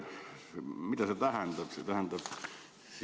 Mida see tähendab?